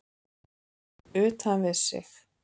Utan við sig?